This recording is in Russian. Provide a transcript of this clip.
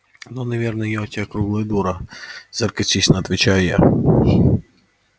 ну наверное я у тебя круглая дура саркастично отвечаю я